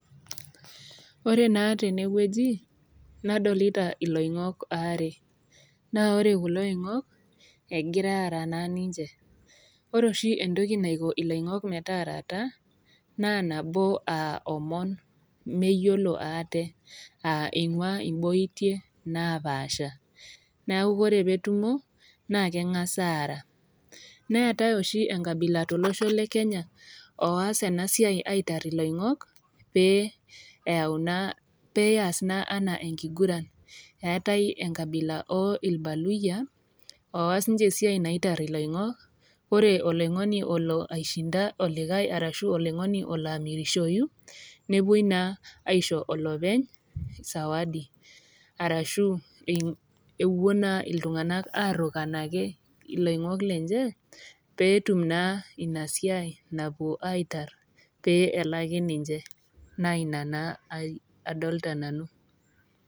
Ore naa tene wueji nadolita iloing'ok waare, naa ore kulo oingok, egira aara naa ninche, ore oshi entoki naiko iloing'ok metaarata naa nabo aa omon meyiolo aate, aa einguaa imboitie napaasha, neaku ore pee etumo, naa keng'as aara. Neatai oshi enkabila tolosho le Kenya oas ena siai aitar iloing'ok pee eyau naa, pee eas naa anaa enkiguran, eatai enkabila oo ilbaluyia, oas ninche esiai naitar iloing'ok, ore oloing'oni olo aishinda olikai arashu oloingoni olo amirishoi, newuoi naa aisho olopeny sawadi, arashu ewuo naa iltung'ana arukan ake iloing'ok lenye peetum naa Ina siai napuo aitar pee eleki ninche, naa Ina naa adolita nanu.